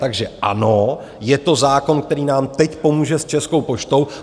Takže ano, je to zákon, který nám teď pomůže s Českou poštou.